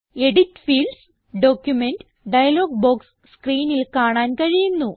edit Fields document dialog box സ്ക്രീനിൽ കാണാൻ കഴിയുന്നു